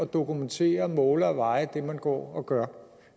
dokumentere måle og veje det man går og gør